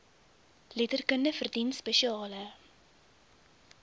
letterkunde verdien spesiale